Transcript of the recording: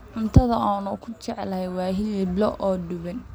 Cuntada aan ugu jecelahay waa hilib lo'aad oo duban.